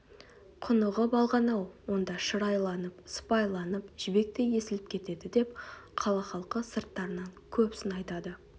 құнығып алған-ау онда шыр айланып сыпайыланып жібектей есіліп кетеді деп қала халқы сырттарынан көп сын айтады